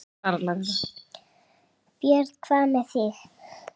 Björn: Hvað með þig?